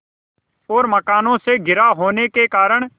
और मकानों से घिरा होने के कारण